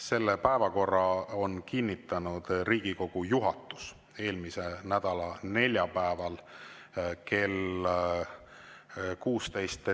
Selle päevakorra on kinnitanud Riigikogu juhatus eelmise nädala neljapäeval kell 16.